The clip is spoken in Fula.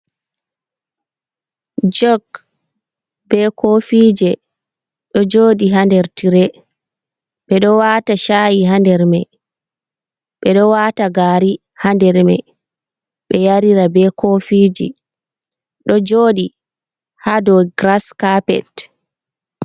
Jok be kofije ɗo joɗi hander tire, ɓeɗo wata sha’i handermai, ɓeɗo wata gari handermai, ɓe yarira be kofiji ɗo joɗi ha do giras kapet.